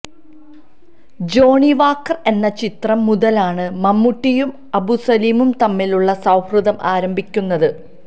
Johnnie Walker എന്ന ചിത്രം മുതലാണ് മമ്മൂട്ടിയും അബു സലീമും തമ്മിലുള്ള സൌഹൃദം ആരംഭിയ്ക്കുന്നത്